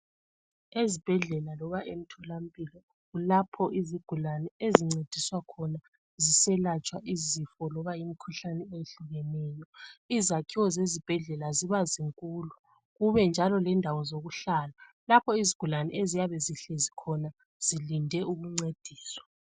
Ezibhedlela loba emtholampilo lapho izigulane ezincediswa khona ziselatshwa izifo loba imikhuhlane ehlukeneyo . Izakhiwo zezibhedlela ziba zinkulu ,kube njalo lendawo zokuhlala .Lapho izigulane eziyabe zihlezi khona zilinde ukuncediswa.